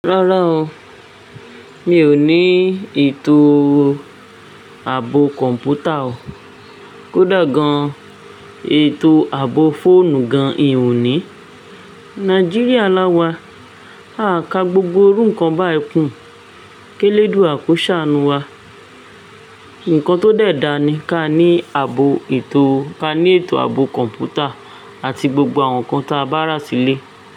Rárá o, mi ò ní ètò ààbò kọ̀ǹpútà o, kódà gan ètò ààbò fóònù gan ì ò ní. Nàìjíríà láwà, a ka gbogbo iru ǹkan báyìí kún. Kẹ́lẹ́dùwa kọ saánù wa, ǹkan tó dẹ̀ dà ni ka ní àbò ètò, ka ní ètò àbò kọ̀ǹpútà àti gbogbo àwọn ǹkan tí a bá rà sílè.